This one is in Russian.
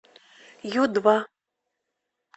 ю два